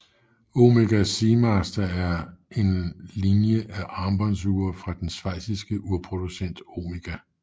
Omega Seamaster er en linjer af armbåndsure fra den schweiziske urproducent Omega